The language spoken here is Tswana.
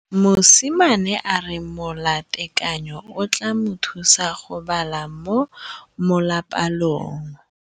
Mosimane a re molatekanyô o tla mo thusa go bala mo molapalong.